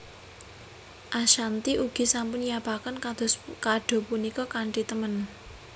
Ashanty ugi sampun nyiapaken kado punika kanthi temen